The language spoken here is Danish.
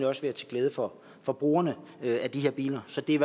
også være til glæde for for brugerne af de her biler så det er